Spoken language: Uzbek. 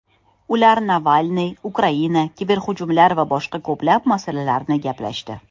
Ular Navalniy, Ukraina, kiberhujumlar va boshqa ko‘plab masalalarni gaplashdi.